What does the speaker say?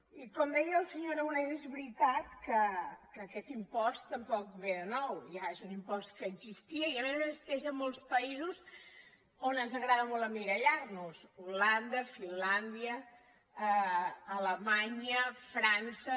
i com deia el senyor aragonès és veritat que aquest impost tampoc ve de nou ja és un impost que existia i a més a més existeix a molts països on ens agrada molt emmirallar nos holanda finlàndia alemanya frança